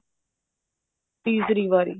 ਤੀਸਰੀ ਵਾਰੀ